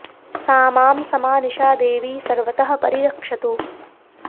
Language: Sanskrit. सा मां समा निशा देवी सर्वतः परि रक्षतु